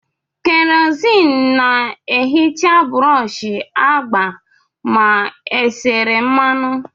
Kerosene na-ehicha brọsh agba ma e sere mmanụ.